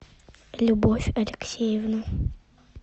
любовь алексеевна